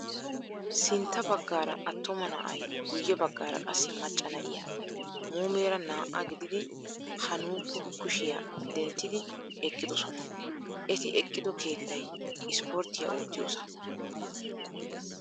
Sintta baggaara attuma na'ay guyye baggaara qassi macca na'iyaa muumeera naa''a gididi ha nuukko kushiyaa denttidi eqqidosonaa. Eti eqqido keettayi sporttiyaa oottiyosaa.